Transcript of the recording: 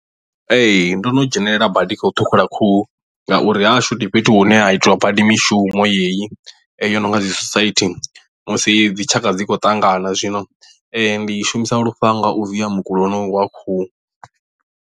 Ee ndo no dzhenelela badi kha u ṱhukhula khuhu ngauri ha hashu ndi fhethu hune ha itiwa badi mishumo yeyi yono nga dzi sosaithi musi dzi tshaka dzi khou ṱangana zwino ndi shumisa lufhanga u via mukulo honoyu wa khuhu.